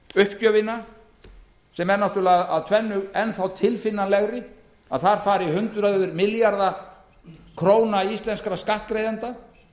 uppgjöfina sem er af tvennu illu enn tilfinnanlegri að þar fari hundruð milljarða króna íslenskra skattgreiðenda